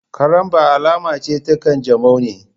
Karambaw alama ce ta kanjamau ne